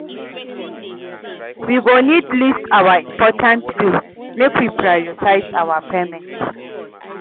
We go need list our important bills, make we prioritize our payments